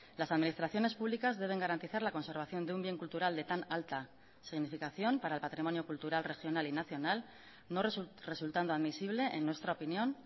las administraciones públicas deben garantizar la conservación de un bien cultural de tan alta significación para el patrimonio cultural regional y nacional no resultando admisible en nuestra opinión